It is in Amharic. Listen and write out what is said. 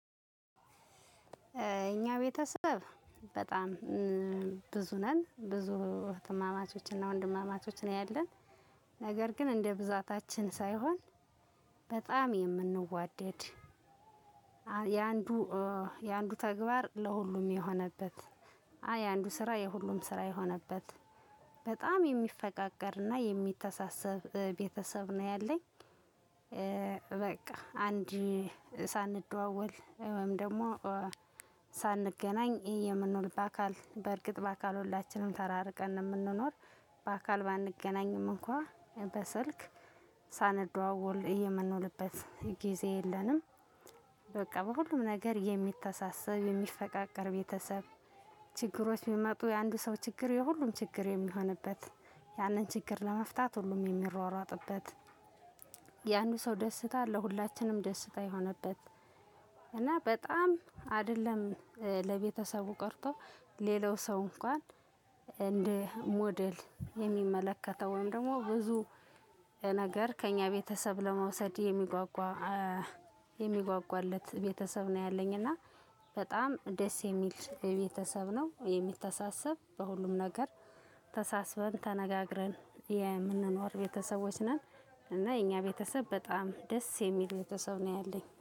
እኛ ቤተሰብ በጣም ብዙ ነን ብዙ እህትማማቾች እና ወንድማማቾች ነው ያለን ነገር ግን እንደ ብዛታችን ሳይሆን በጣም የምንዋደድ የአንዱ የአንዱ ተግባር ለሁሉም የሆነበት የአንዱ ስራ ለሁሉም ስራ የሆነበት በጣም የሚፈቃቀር እና የሚተሳሰብ ቤተሰብ ነው ያለኝ። በቃ አንድ ሳንደዋወል ወይም ደግሞ ሳንገናኝ የምንውል በአካል በእርግጥ በአካል ሁላችንም ተራርቀን ነው የምንኖር። በአካል ባንገናኝም እንኳን በስልክ ሳንደዋወል የምንውልበት ጊዜ የለንም። በቃ በሁሉም ነገር የሚተሳሰብ የሚፈቃቀር ቤተሰብ ችግሮች ሲሚጡ የአንዱ ሰው ችግር የሁሉም ችግር የሚሆንበት ያንን ችግር ለመፍታት ሁሉም የሚሯሯጥበት። የአንዱ ሰው ደስታ ለሁላችንም ደስታ የሆነበት። እና በጣም አይደለም ለቤተሰቡ ቀርቶ ሌላው ሰው እንኳን እንደ ሞዴል የሚመለከተው ወይም ደግሞ ብዙ ነገር ከእኛ ቤተሰብ ለመውሰድ የሚጓጓ የሚጓጓለት ቤተሰብ ነው ያለኝ። እና በጣም ደስ የሚል ቤተሰብ ነው የሚተሳሰብ በሁሉም ነገር ተሳስበን ተነጋግረን የምንኖር ቤተሰቦች ነን። እና የኛ ቤተሰብ በጣም ደስ የሚል ቤተሰብ ነው ያለኝ